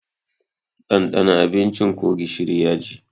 Ɗandana abincin ko gishiri yaji!